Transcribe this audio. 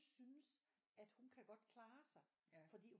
Synes at hun kan godt klare sig fordi